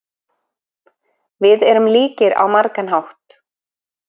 Við erum líkir á margan hátt.